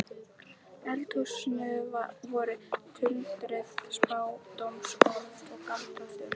eldhúsinu voru tuldruð spádómsorð og galdraþulur.